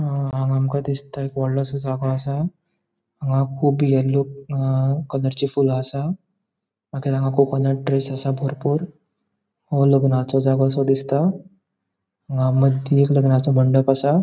अ हांगा आमका दिसता कि वॉडलोंसो जागो असा हांगा कुब येल्लो कलरची फूल असा मागिर हांगा कुब कोकोनट ट्रिस असा बरपुर लग्नाचो जागोसो दिसता हांगा मदी एक लग्नाचो मंडप दिसता.